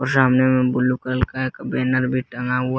और सामने में ब्लू कलर का एक बैनर भी टंगा हुआ--